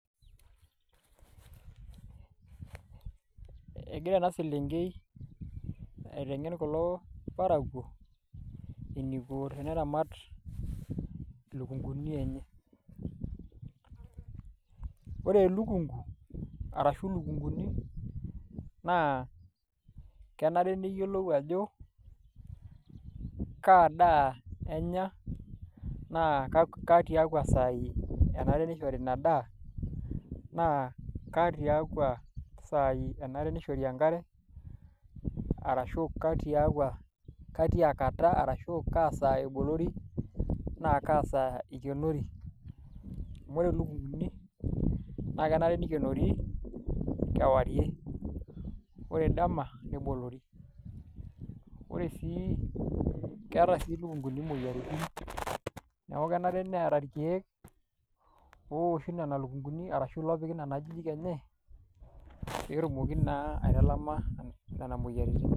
Egira ena selenkei aiteng'en kulo parakuo eniko teneramat ilukunguni enye, ore elukungu arashu ilukunguni naa kenare niyiolou ajo kaa daa enya naa ketiakua saai enare nishori ina daa naa ketiakua saai enare nishori enkare arashu ketia kata arashu kaa saa ebolori naa kaa saa ikenori amu eyieu ilukunguni naa kenare nikenori kewarie ore dama neboluri ore sii keeta sii ilukunguni imoyiaritin neeku kenare neeku kenare neeta irkeek ooshi nena lukunguni arashu loopiki nena ajijik enye pee etumoki naa aitalama nena moyiaritin.